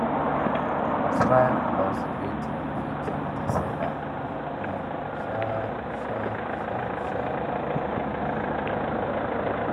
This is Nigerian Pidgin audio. smile plus greeting fit change the seller um mind sharp-sharp sharp-sharp